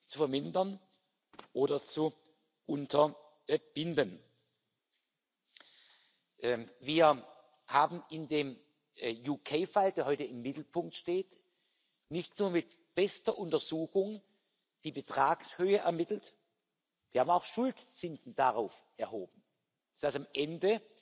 zu vermindern oder zu unterbinden. Wir haben in dem UK Fall, der heute im Mittelpunkt steht, nicht nur mit bester Untersuchung die Betragshöhe ermittelt, wir haben auch Schuldzinsen darauf erhoben, sodass am Ende,